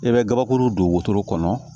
I bɛ gabakuru don wotoro kɔnɔ